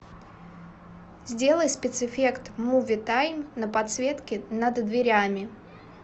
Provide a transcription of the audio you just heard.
сделай спецэффект муви тайм на подсветке над дверями